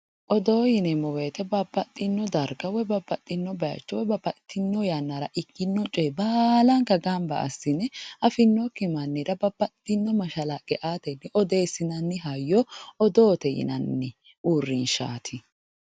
Odoo yineemmo woyte babbaxino darga woyi babbaxino bayicho babbaxitino yannara ikkino coye baallanka gamba assine affinokki mannira babbaxino mashalaqqe aaateti odeessinanni hayyo odoote yinnani uurrinshati.